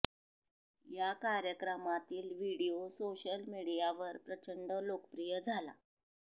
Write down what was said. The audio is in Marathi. या कार्यक्रमातील व्हिडियो सोशल मीडियावर प्रचंड लोकप्रिय झाला